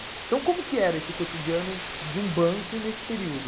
Então como que era esse cotidiano de um banco nesse período?